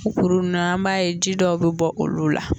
U kurun ninnu na an b'a ye ji dɔw bɛ bɔ olu la.